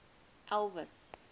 elvis